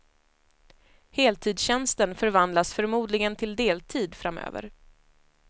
Heltidstjänsten förvandlas förmodligen till deltid framöver.